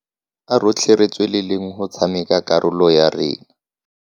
A rotlhe re tsweleleng go tshameka karolo ya rona.